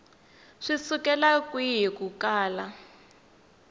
swi sukela kwihi ku kala